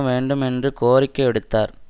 வேண்டும் என்று கோரிக்கை விடுத்தார்